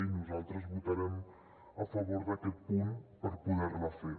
i nosaltres votarem a favor d’aquest punt per poder la fer